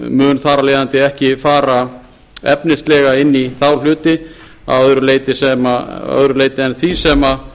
mun þar af leiðandi ekki fara efnislega inn í þá hluti að öðru leyti en því sem